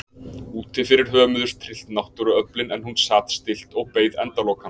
Úti fyrir hömuðust tryllt náttúruöflin en hún sat stillt og beið endalokanna.